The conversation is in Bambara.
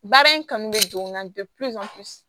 Baara in kanu bɛ don n na